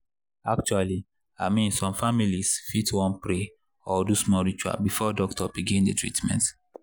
actually i mean some families fit wan pray or do small ritual before doctor begin the treatment.